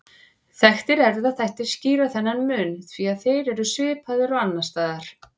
Þekktir erfðaþættir skýra ekki þennan mun því þeir eru svipaðir og annars staðar.